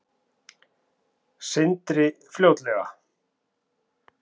Sindri: Fljótlega?